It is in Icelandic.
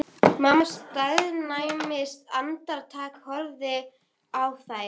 Hann leit út eins og frambjóðandi á auglýsingaskilti.